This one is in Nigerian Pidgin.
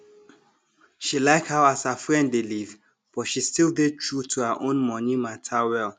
she like how as her friend dey live but she still dey true to her own money matter well